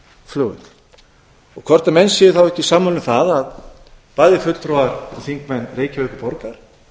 keflavíkurflugvöll og hvort menn séu ekki sammála um það að bæði fulltrúar og þingmenn reykjavíkurborgar